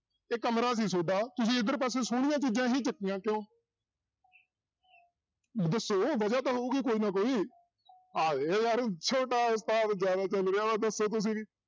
ਇਹ ਕਮਰਾ ਸੀ ਤੁਹਾਡਾ ਤੁਸੀਂ ਇੱਧਰ ਪਾਸੇ ਸੋਹਣੀਆਂ ਚੀਜ਼ਾਂ ਹੀ ਚੁੱਕੀਆਂ ਕਿਉਂ ਦੱਸੋ ਵਜਾ ਤਾਂ ਹੋਊਗੀ ਕੋਈ ਨਾ ਕੋਈ ਯਾਰ ਛੋਟਾ ਉਸਤਾਦ ਦੱਸੋ ਤੁਸੀਂ ਵੀ